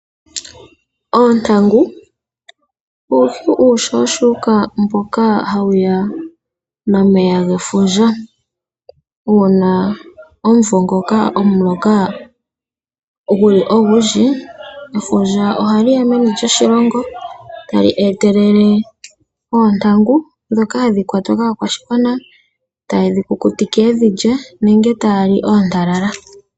Oontangu uuhi uushushuka mboka hawuya nefundja. Uuna omvo ngoka omuloka ogundji efundja ohali ya meni lyoshilongo tali etelele oontangu ndhoka hadhi kwatwa kaakwashigwana hayedhi kukutike nenge yalye oontalala.